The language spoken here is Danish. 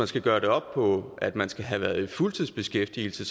skal gøres op på af at man skal have været i fuldtidsbeskæftigelse